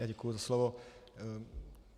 Já děkuji za slovo.